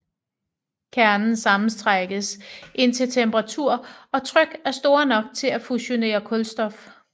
Kernen sammentrækkes indtil temperatur og tryk er store nok til at fusionere kulstof